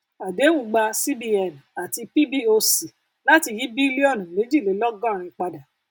àdéhùn gba cbn àti pboc láti yí bílíọnù méjìlélọgọrin padà